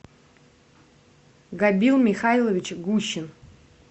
габил михайлович гущин